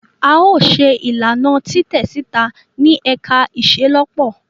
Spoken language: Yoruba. A yoo ṣe ilana ilana titẹ sita ni ẹka iṣelọpọ.